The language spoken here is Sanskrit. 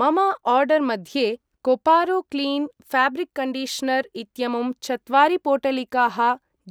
मम आर्डर् मध्ये कोपारो क्लीन् फाब्रिक् कण्डिश्नर् इत्यमुं चत्वारि पोटलिकाः